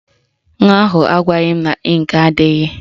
Nwa ahụ agwaghị m na ịnkị adịghị